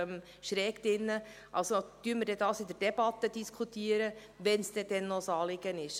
Diskutieren wir darüber im Rahmen der Debatte, wenn es dann noch ein Anliegen ist!